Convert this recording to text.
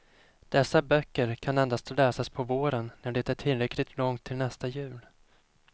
Dessa böcker kan endast läsas på våren när det är tillräckligt långt till nästa jul.